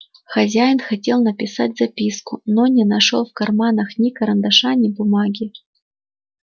хозяин хотел написать записку но не нашёл в карманах ни карандаша ни бумаги